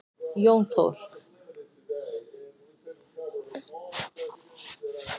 Jón Þór.